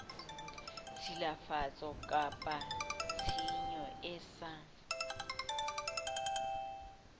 tshilafatso kapa tshenyo e sa